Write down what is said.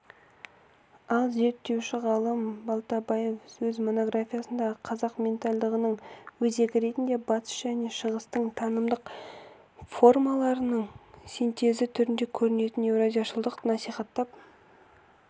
ал зерттеуші ғалым балтабаев өз монографиясында қазақ ментальдығының өзегі ретінде батыс және шығыстың танымдық формаларының синтезі түрінде көрінетін еуразияшылдықты насихаттап